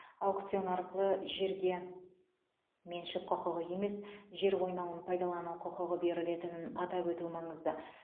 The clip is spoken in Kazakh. аукцион арқылы жерге меншік құқығы емес жер қойнауын пайдалану құқығы берілетінін атап өту маңызды